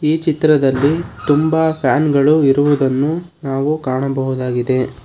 ಈ ಚಿತ್ರದಲ್ಲಿ ತುಂಬಾ ಫ್ಯಾನ್ ಗಳು ಇರುವುದನ್ನು ನಾವು ಕಾಣಬಹುದಾಗಿದೆ.